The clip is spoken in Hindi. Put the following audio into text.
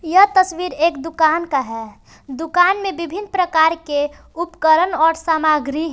यह तस्वीर एक दुकान का है दुकान में विभिन्न प्रकार के उपकरण और सामग्री है।